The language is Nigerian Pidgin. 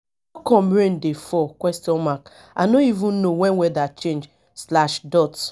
how come rain dey fall? i no even know when weather change.